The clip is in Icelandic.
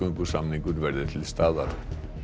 útgöngusamningur verði til staðar